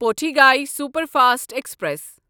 Pothigai superfast express